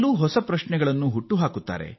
ಹೊಸ ಕೌತುಕವನ್ನು ಶೋಧಿಸುತ್ತಾರೆ